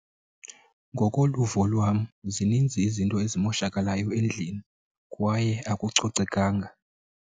Ngokoluvo lwam zininzi izinto ezimoshakalayo endlini kwaye akucocekanga.